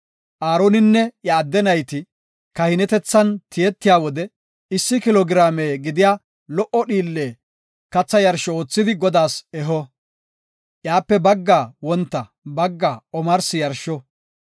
Aaroninne iya adde nayti kahinetethan tiyetiya wode issi kilo giraame gidiya lo77o dhiille katha yarsho oothidi Godaas eho. Iyape baggaa wonta, baggaa omarsi yarsho.